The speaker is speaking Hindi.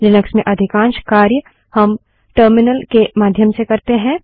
लिनक्स में अधिकांश कार्य हम टर्मिनल के माध्यम से करते है